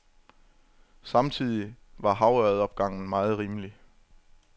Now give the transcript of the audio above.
Samtidig var havørredopgangen meget rimelig.